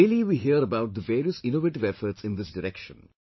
Daily we hear about the various innovative efforts in this direction